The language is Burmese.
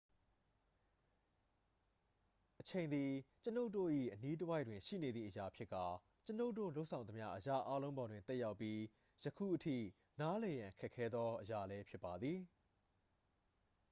အချိန်သည် ကျွန်ုပ်တို့၏အနီးတစ်ဝိုက်တွင်ရှိနေသည့်အရာဖြစ်ကာ ကျွန်ုပ်တို့လုပ်ဆောင်သမျှအရာအားလုံးပေါ်တွင် သက်ရောက်ပြီး ယခုအထိ နားလည်ရန်ခက်ခဲသောအရာလည်းဖြစ်ပါသည်